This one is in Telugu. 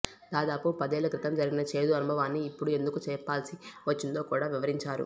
దాదాపు పదేళ్ల క్రితం జరిగిన చేదు అనుభవాన్ని ఇప్పుడు ఎందుకు చెప్పాల్సి వచ్చిందో కూడా వివరించారు